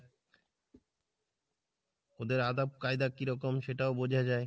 ওদের আদপ কায়দা কীরকম সেটাও বোঝাযায়।